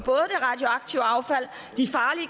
så affald de farlige